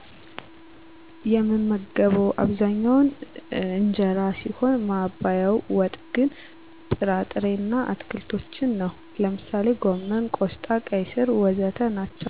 የምመገበው አብዛኛው እንጀራ ሲሆን ማባያው ወጥ ግን ጥራ ጥሬ እና አትክልቶችን ነው። ለምሳሌ ጎመን፣ ቆስጣ፣ ቀይ ስር.... ወዘተ ናቸዉ